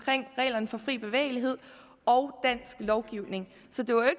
reglerne for fri bevægelighed og dansk lovgivning så det var